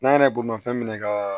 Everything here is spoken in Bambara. N'an yɛrɛ bolomafɛn minɛ ka